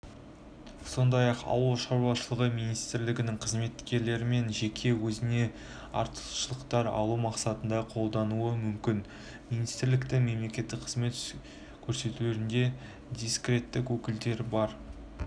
сондай-ақ ауыл шаруашылығы министрлігінің қызметшілерімен жеке өзіне артықшылықтар алу мақсатында қолданылуы мүмкін министрліктің мемлекеттік қызмет көрсетулерінде дискреттік өкілеттіктер бар